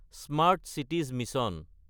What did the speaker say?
smart cities mission